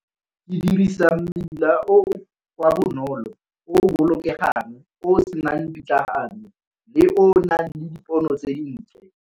Ke dirisa mmila o o wa bonolo o o bolokegang, o o senang pitlagano, le ona le dipono tse di ntle.